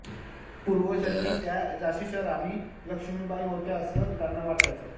पूर्वजन्मी त्या झाशीची राणी लक्ष्मीबाई होत्या असं त्यांना वाटायचं